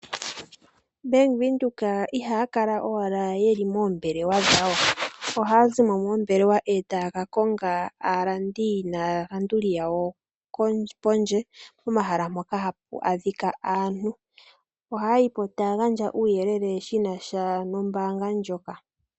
Bank Windhoek ihaya kala owala ye li moombelewa dhawo. Ohaya zi mo etaya ka konga aalandi naalanduli yawo kondje pomahala mpoka hapu adhika aantu, ohaya yi po taya gandja omauyelele gena sha nombaanga ndjoka.